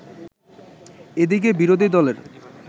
এদিকে বিরোধী দলের